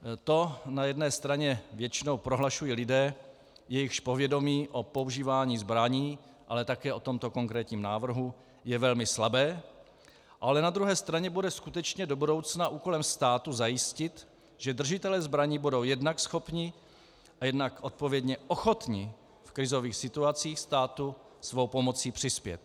To na jedné straně většinou prohlašují lidé, jejichž povědomí o používání zbraní, ale také o tomto konkrétním návrhu je velmi slabé, ale na druhé straně bude skutečně do budoucna úkolem státu zajistit, že držitelé zbraní budou jednak schopni a jednak odpovědně ochotni v krizových situacích státu svou pomocí přispět.